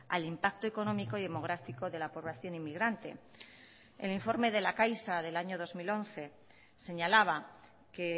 al impacto económico y demográfico de la población inmigrante el informe de la caixa del año dos mil once señalaba que